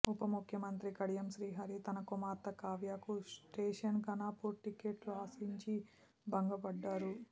ఉప ముఖ్యమంత్రి కడియం శ్రీహరి తన కుమార్తె కావ్యకు స్టేషన్ ఘనపూర్ టిక్కెట్టు ఆశించి భంగపడ్డారు